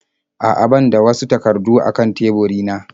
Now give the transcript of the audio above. A'a ban da wasu takardu a kan teburina.